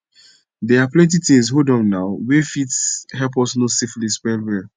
they are plenty things hold on now were f fit help us know syphilis well well